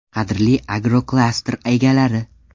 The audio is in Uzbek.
Qadrli agroklaster egalari!